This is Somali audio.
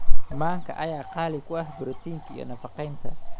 Manka ayaa qani ku ah borotiinka iyo nafaqeynta